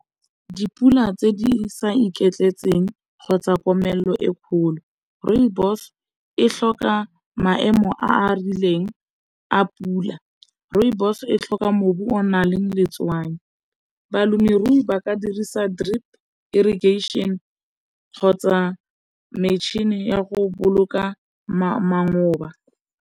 Dipula tse di sa iketletseng kgotsa komelelo e kgolo, rooibos e tlhoka maemo a a rileng a pula, rooibos e o na le letswai, balemirui ba ka dirisa drip irrigation kgotsa metšhini ya go boloka